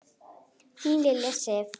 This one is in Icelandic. Þín Lilja Sif.